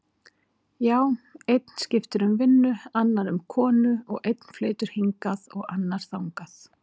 Já, einn skiptir um vinnu, annar um konu og einn flytur hingað og annar þangað.